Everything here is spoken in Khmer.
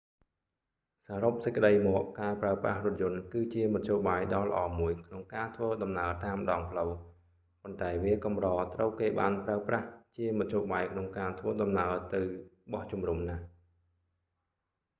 សរុបសេចក្ដីមក ការប្រើប្រាស់រថយន្តគឺជាមធ្យោបាយដ៏ល្អមួយក្នុងការធ្វើដំណើរតាមដងផ្លូវ ប៉ុន្តែវាកម្រត្រូវគេបានប្រើប្រាស់ជាមធ្យោបាយក្នុងការធ្វើដំណើរទៅ បោះជុំរុំ ណាស់